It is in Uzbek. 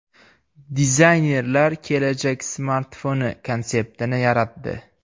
Dizaynerlar kelajak smartfoni konseptini yaratdi .